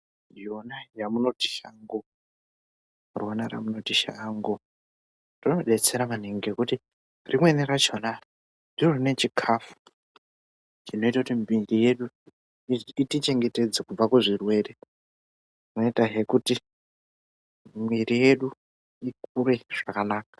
Rona ramunoti shango rinodetsera maningi ngekuti rimweni rachona ndiro rine chikafu chinoite kuti miri yedu itichengetedze kubva kuzvirwere inotahe kuti miri yedu ikure zvakanaka.